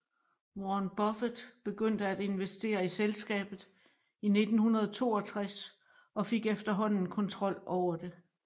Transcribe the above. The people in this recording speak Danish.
Warren Buffet begyndte at investere i selskabet i 1962 og fik efterhånden kontrol over det